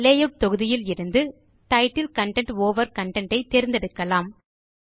layout தொகுதியில் இருந்து ஜிடிஜிடி டைட்டில் கன்டென்ட் ஓவர் கன்டென்ட் ஐ தேர்ந்தெடுக்கலாம்